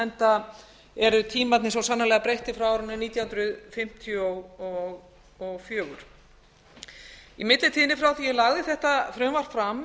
enda eru tímarnir svo sannarlega breyttir frá árinu nítján hundruð fimmtíu og fjögur í millitíðinni frá því að ég lagði þetta frumvarp fram